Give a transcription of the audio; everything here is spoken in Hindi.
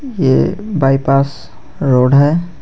यह बायपास रोड है.